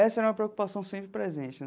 Essa era uma preocupação sempre presente.